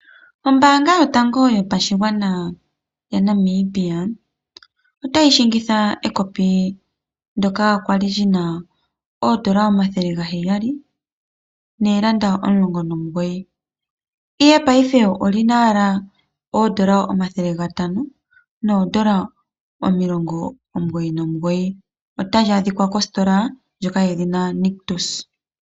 Ombaanga yotango ya Namibia otayi landitha ekopi ndoka kwali lina omathele gaheyali noondola omulongo nomugoyi, ihe payife olina owala oondola omayovi gatano noondola omilongo omugoyi nomugoyi. Otali adhika kositola ndjoka yedhina Nictus.